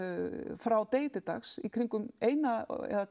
frá degi til dags í kringum eina